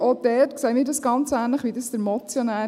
Auch dort sehen wir es ganz ähnlich wie der Motionär.